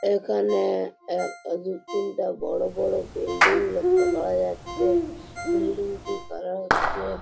এখানে এক দুই তিনটা বড় বড় বিল্ডিং দেখতে পাওয়া যাচ্ছে বিল্ডিংটি কালার হচ্চে।